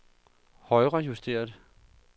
højrejusteret